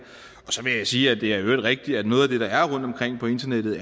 så vil jeg sige at det er rigtigt at noget af det der er rundtomkring på internettet